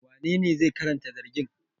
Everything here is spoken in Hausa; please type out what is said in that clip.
Wanene zai karanta zargin?